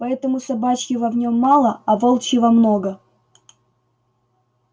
поэтому собачьего в нем мало а волчьего много